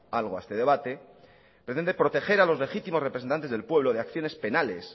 algo a este debate pretende proteger a los legítimos representantes del pueblo de acciones penales